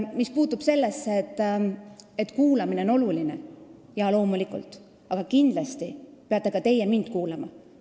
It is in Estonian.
Mis puutub sellesse, et kuulamine on oluline, siis jaa, loomulikult, aga kindlasti peate ka teie mind kuulama.